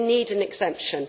They need an exemption.